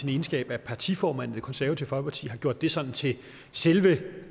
sin egenskab af partiformand i det konservative folkeparti har gjort det sådan til selve